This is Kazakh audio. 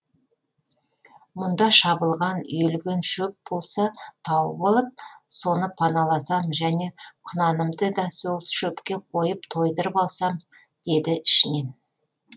мұнда шабылған үйілген шөп болса тауып алып соны паналасам және құнанымды да сол шөпке қойып тойдырып алсам деді ішінен